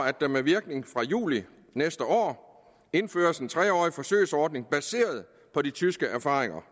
at der med virkning fra juli næste år indføres en tre årig forsøgsordning baseret på de tyske erfaringer